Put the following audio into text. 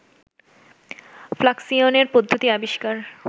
ফ্লাকসিয়নের পদ্ধতি আবিষ্কার